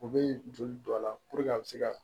U bɛ joli don a la puruke a bɛ se ka